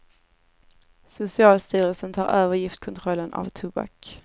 Socialstyrelsen tar över giftkontrollen av tobak.